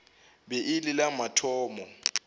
be e le la mathomo